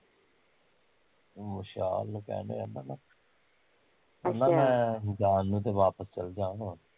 ਵਿਸ਼ਾਲ ਨੂੰ ਕਹਿਣ ਡੀਆ ਕਹਿੰਦਾ ਮੈਂ ਜਾਣ ਨੂੰ ਤੇ ਵਾਪਿਸ ਚਲਜਾਂ ਹੁਣ